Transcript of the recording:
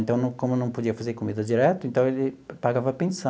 Então não, como não podia fazer comida direto, então ele pagava pensão.